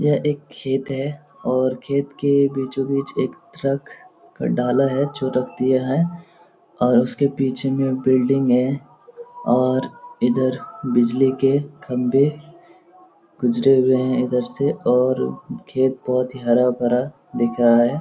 यह एक खेत है और खेत के बीचों बीच एक ट्रक डाला है जो रख दिया है और उसके पीछे में बिल्डिंग है और इधर बिजली के खम्बे गुजरे हुए हैं इधर से और खेत बहुत ही हरा भरा दिख रहा है ।.